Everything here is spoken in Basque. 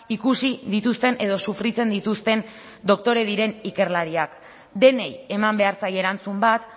ikusi dituzten edo sufritzen dituzten doktore diren ikerlariak denei eman behar zaie erantzun bat